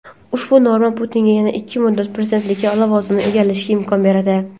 ushbu norma Putinga yana ikki muddat prezidentlik lavozimini egallashga imkon beradi.